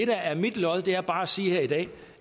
der er mit lod er bare at sige her i dag